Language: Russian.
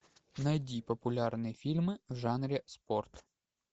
найди популярные фильмы в жанре спорт